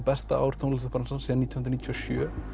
besta ár tónlistarbransans síðan nítján hundruð níutíu og sjö